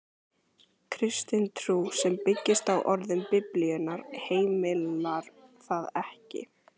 Kristin trú, sem byggist á orðum Biblíunnar, heimilar það ekki.